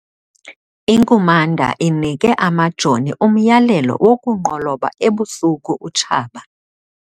Inkumanda inike amajoni umyalelo wokulunqoloba ebusuku utshaba.